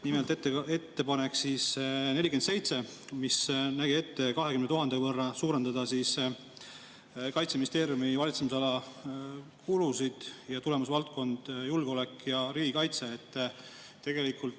Nimelt, ettepanek 47, mis nägi ette 20 000 euro võrra suurendada Kaitseministeeriumi valitsemisala kulusid tulemusvaldkonnas "Julgeolek ja riigikaitse".